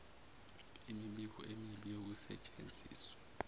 imibiko emibi yokusetshenziswa